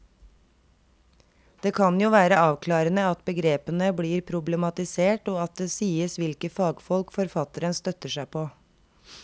Det kan jo være avklarende at begrepene blir problematisert og at det sies hvilke fagfolk forfatteren støtter seg på.